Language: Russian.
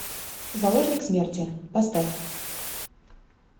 заложник смерти поставь